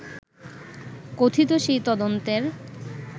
কথিত সেই তদন্তের